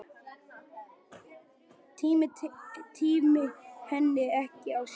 Tími henni ekki á sjóinn!